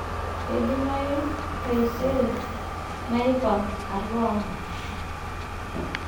Keidamayu taisere naipang' alo ang'.